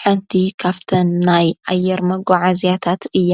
ሓንቲ ኻፍተን ናይ ኣየር መጓዓ እዚያታት እያ።